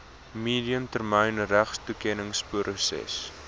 medium termyn regstoekenningsproses